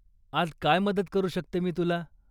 आज काय मदत करू शकते मी तुला?